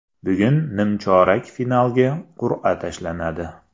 Bugun nimchorak finalga qur’a tashlanadi.